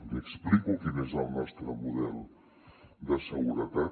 li explico quin és el nostre model de seguretat